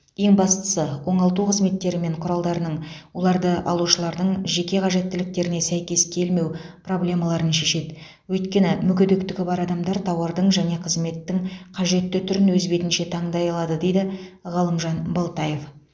ең бастысы оңалту қызметтері мен құралдарының оларды алушылардың жеке қажеттіліктеріне сәйкес келмеу проблемаларын шешеді өйткені мүгедектігі бар адамдардың тауардың және қызметтің қажетті түрін өз бетінше таңдай алуында дейді ғалымжан балтаев